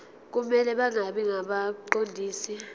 kumele bangabi ngabaqondisi